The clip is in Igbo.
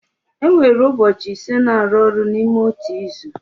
E nwere ụbọchị ise na-arụ ọrụ n'ime otu izu.